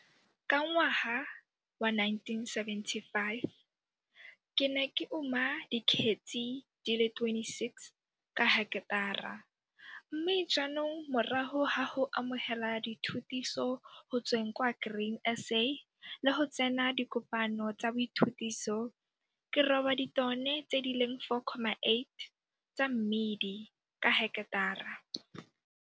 Ka ngwaga wa 1975 ke ne ke uma dikgetsi di le 26 ka heketara mme jaanong morago ga go amogela dithutiso go tsweng kwa Grain SA le go tsena dikopano tsa boithubiso ke roba ditone tse di leng 4,8 tsa mmidi ka heketara.